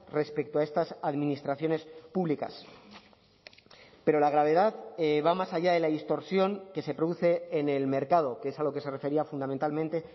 respecto a estas administraciones públicas pero la gravedad va más allá de la distorsión que se produce en el mercado que es a lo que se refería fundamentalmente